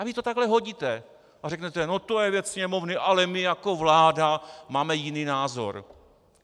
A vy to takhle hodíte a řeknete no to je věc Sněmovny, ale my, jako vláda, máme jiný názor.